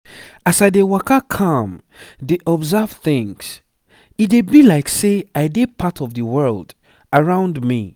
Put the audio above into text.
as i dey waka calm dey observe things e dey be like say i dey part of the world around me.